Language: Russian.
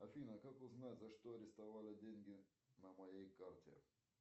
афина как узнать за что арестовали деньги на моей карте